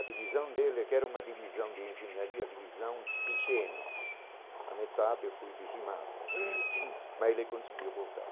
A divisão dele, que era uma divisão de engenharia, a divisão Piceno, a metade foi dizimada né, mas ele conseguiu voltar.